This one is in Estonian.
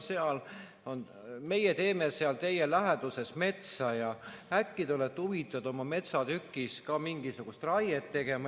Vaat meie teeme seal teie läheduses metsa ja äkki te olete huvitatud oma metsatükil ka mingisugust raiet tegema?